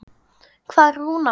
Hvar er Rúnar Már?